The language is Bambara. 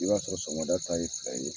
I b'a sɔrɔ sɔngɔda ta ye fila ye